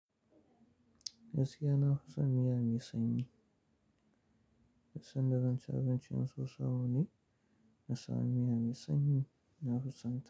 Gaskiya na fison miya mai sanyi. Duk sanda zanci abinci in so shi a wame nasanu miya mai sanyi na fi sonta.